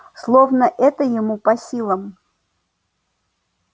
словно это ему по силам